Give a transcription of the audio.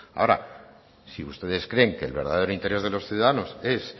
ahora si ustedes creen que el verdadero interés de los ciudadanos es